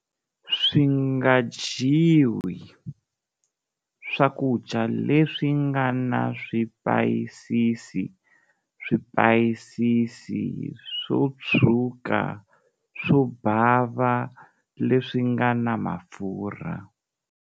Swi nga dyiwi-Swakudya leswi nga na swipayisisi, swipayisisi, swo tshwuka, swo bava, leswi nga na mafurha.